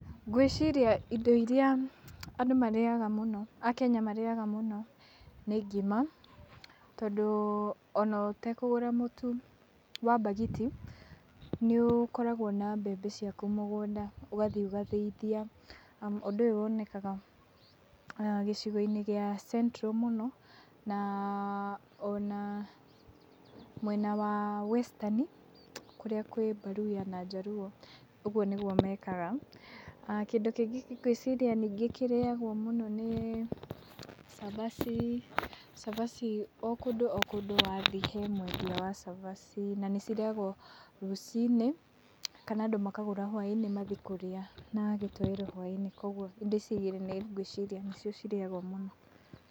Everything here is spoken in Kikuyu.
Ngwĩciria indo iria andũ marĩaga mũno, a Kenya marĩaga mũno, nĩ ngima tondũ ona ũtekũgũra mũtu wa mbagiti nĩ ũkoragwo na mbembe ciaku mũgũnda ũgathi ũgathĩithia. Ũndũ ũyũ wonekaga gĩcigo-inĩ gĩa Central mũno ona mwena wa Western kũrĩa kwĩ mbaruya na njaruũ, ũguo nĩguo mekaga. Kĩndũ kĩngĩ ningĩ ngwĩciria ningĩ kĩrĩagwo mũno nĩ cabaci. Cabaci o kũndũ o kũndũ wathi he mwendia wa cabaci na nĩ cirĩagwo rũcinĩ kana andũ makagũra hwainĩ mathi kũrĩa na gĩtoero hwainĩ, kũoguo indo ici igĩrĩ nĩcio ngwĩciria cirĩagwo mũno.